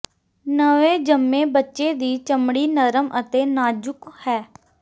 ਨਵੇਂ ਜੰਮੇ ਬੱਚੇ ਦੀ ਚਮੜੀ ਨਰਮ ਅਤੇ ਨਾਜ਼ੁਕ ਹੈ